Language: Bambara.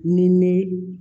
Ni ne